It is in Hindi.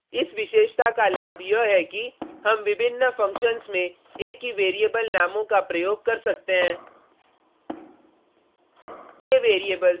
इस विशेषता का लाभ यह है कि हम विभिन्न फंक्शन्स में एक ही वैरिएबल नामों का प्रयोग कर सकते हैं